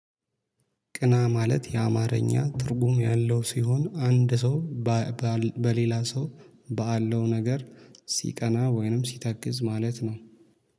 ቅና ማለት የአማርኛ ትርጉም ያለው ሲሆን አንድ ሰው በሌላ ሰው ባለው ነገር ሲቀና ወይንም ሲተክዝ ማለት ነው።